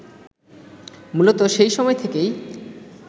মূলত সেই সময় থেকেই